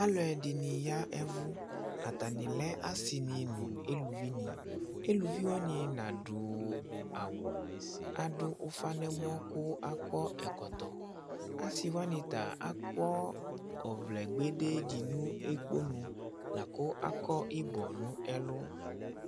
Alʋɛdìní yavʋ Atani asi ni nʋ elʋvi ni Elʋvi wani nadu awu, adu ʋfa nʋ ɛmɔ kʋ akɔ ɛkɔtɔ Asi wani ta akɔ ɔvlɛ kpedee di nʋ ɛkponʋ lakʋ akɔ ibɔ nʋ ɛlu